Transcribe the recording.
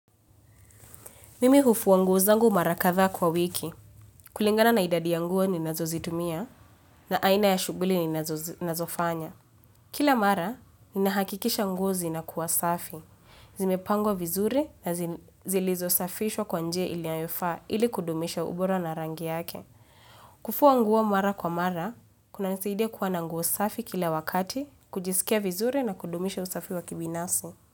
Mimi hufua nguo zangu mara kadhaa kwa wiki. Kulingana na idadi ya nguo ninazozitumia na aina ya shughuli ninazofanya. Kila mara, ninahakikisha nguo zinakuwa safi. Zimepangwa vizuri na zilizosafishwa kwa njia ilianyofaa ili kudumisha ubora na rangi yake. Kufua nguo mara kwa mara, kunanisaidia kuwa na nguo safi kila wakati, kujisikia vizuri na kudumisha usafi wa kibinafsi.